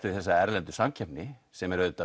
við þessa erlendu samkeppni sem er